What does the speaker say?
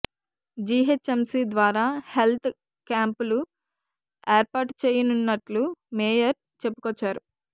GHMC ద్వారా health కాంపులు ఏర్పాటు చేయనున్నట్లు మేయర్ చెప్పుకొచ్చారు